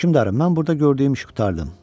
Hökmdarım, mən burada gördüyüm işi qurtardım.